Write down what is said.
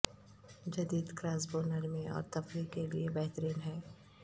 جدید کراسبو نرمی اور تفریح کے لئے بہترین ہے